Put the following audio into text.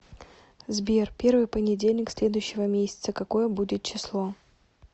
сбер первый понедельник следующего месяца какое будет число